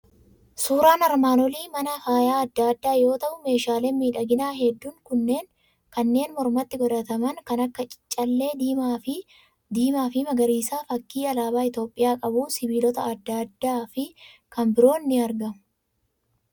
Suuraan armaan olii mana faaya adda addaa yoo ta'u, meeshaaleen miidhaginaa hedduun kanneen mormatti godhataman kan akka callee diimaa fi magariisaa, fakkii alaabaa Itoophiyaa qabuu, sibiilota adda addaa fi kan biroon ni argamu.